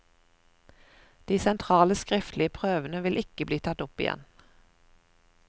De sentrale, skriftlige prøvene vil ikke bli tatt opp igjen.